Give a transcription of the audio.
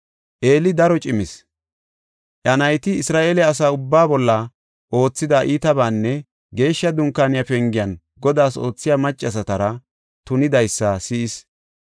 Eeli daro cimis. Iya nayti Isra7eele asa ubbaa bolla oothida iitabaanne Geeshsha Dunkaaniya pengen Godaas oothiya maccasatara tunidaysa si7is.